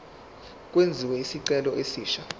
kwenziwe isicelo esisha